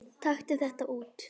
Taktu þetta út